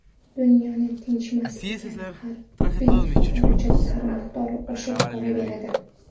Dunyo tinchimas ekan, harbiy xarajatlar miqdori oshib boraveradi.